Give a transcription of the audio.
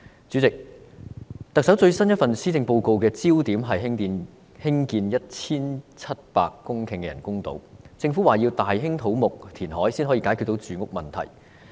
主席，特首最新一份施政報告的焦點是興建 1,700 公頃的人工島，政府表示要大興土木填海才能解決住屋問題。